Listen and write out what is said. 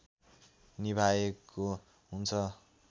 निभाएको हुन्छ